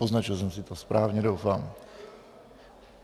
Poznačil jsem si to správně, doufám.